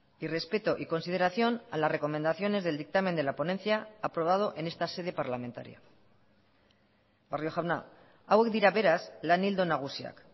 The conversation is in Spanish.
y respeto y consideración a las recomendaciones del dictamen de la ponencia aprobado en esta sede parlamentaria barrio jauna hauek dira beraz lan ildo nagusiak